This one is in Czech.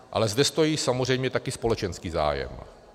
Ale zde stojí samozřejmě také společenský zájem.